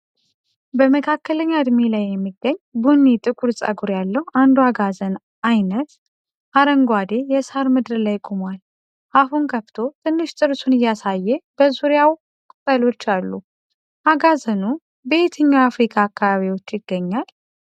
በመካከለኛ ዕድሜ ላይ የሚገኝ፣ ቡኒ-ጥቁር ጸጉር ያለው አንዱ አጋዘን አይነት (duiker) አረንጓዴ የሳር ምድር ላይ ቆሟል። አፉን ከፍቶ ትንሽ ጥርሱን እያሳየ በዙሪያው ቅጠሎች አሉ። አጋዘኑ በየትኛው የአፍሪካ አካባቢዎች ይገኛል?